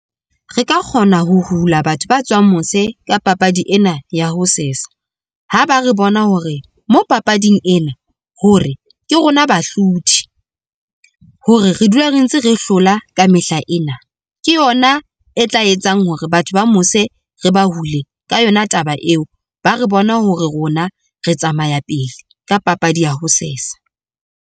Re ka kgona ho hula batho ba tswang mose ka papadi ena ya ho sesa, ha ba re bona hore mo papading ena, hore ke rona bahlodi hore re dula re ntse re hlola ka mehla ena. Ke yona e tla etsang hore batho ba mose re ba hule ka yona taba eo, ba re bone hore rona re tsamaya pele ka papadi ya ho sesa.